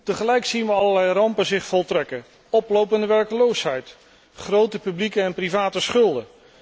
Tegelijk zien we allerlei rampen zich voltrekken oplopende werkloosheid, grote publieke en private schulden.